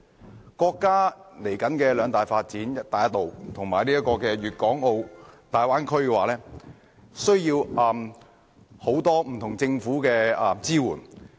作為國家未來的兩大發展項目，"一帶一路"和粵港澳大灣區需要來自政府的多方面支援。